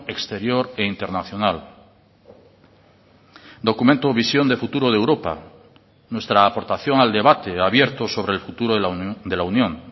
exterior e internacional documento o visión de futuro de europa nuestra aportación al debate abierto sobre el futuro de la unión